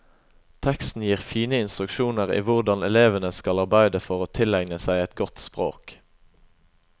Teksten gir fine instruksjoner i hvordan elevene skal arbeide for å tilegne seg et godt språk.